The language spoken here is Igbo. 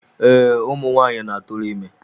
Ee, ụmụ nwaanyị na-atụrụ ime.